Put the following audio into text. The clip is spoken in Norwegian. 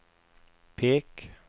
pek